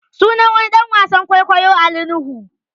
Sunan wani ɗan wasan kwaikwayo Ali Nuhu